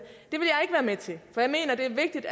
med til for jeg mener det er vigtigt